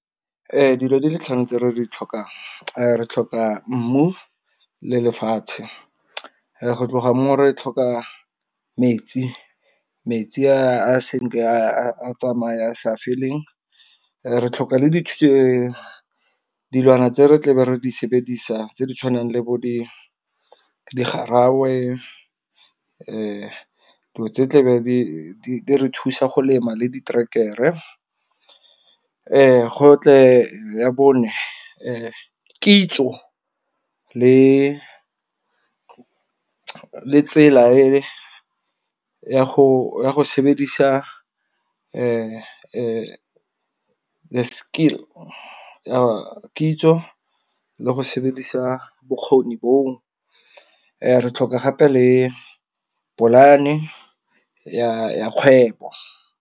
Ee dilo di le tlhano tse re di tlhokang re tlhoka mmu, le lefatshe, go tloga mo re tlhoka metsi a sentle a tsamaya sa feleng. Re tlhoka le dilwana tse re tlabe re di sebedisa tse di tshwanang le bo di garawe, dilo tse tlabe di re thusa go lema le diterekere. Go tle ya bone kitso le tsela e ya go sebedisa the skill ya kitso le go sebedisa bokgoni boo. re tlhoka gape le polane ya ya kgwebo.